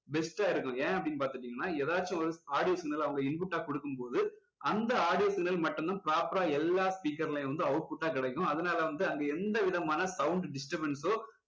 best ஆ இருக்கும் ஏன் அப்படின்னு பாத்துக்கிட்டிங்கன்னா எதாச்சும் ஒரு audio signal அவங்க input ஆ கொடுக்கும் போது அந்த audio signal மட்டும் தான் proper ஆ எல்லா speaker லயும் வந்து output ஆ கிடைக்கும் அதனால வந்து அங்க எந்த விதமான sound disturbance ஓ